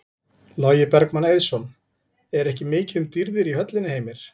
Logi Bergmann Eiðsson: Er ekki mikið um dýrðir í höllinni Heimir?